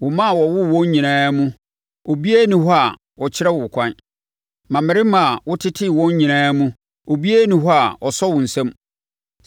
Wo mma a wowoo wɔn nyinaa mu obiara nni hɔ a ɔkyerɛ wo ɛkwan; mmammarima a wotetee wɔn nyinaa mu obiara nni hɔ a ɔsɔ wo nsa mu.